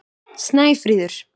Snæfríður